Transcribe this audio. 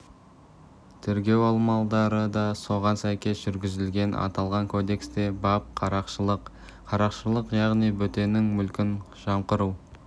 тергеу амалдары да соған сәйкес жүргізілген аталған кодексте бап қарақшылық қарақшылық яғни бөтеннің мүлкін жымқыру